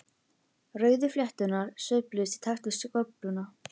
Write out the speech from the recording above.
Rauðu flétturnar sveifluðust í takt við skófluna.